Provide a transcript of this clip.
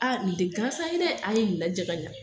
A ni tɛ gansan ye dɛ, a ye ni lajɛ ka ɲɛ